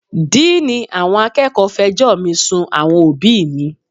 Díìní àwọn akẹ́kọ̀ọ́ fẹjọ́ mi sun àwọn òbíì mi.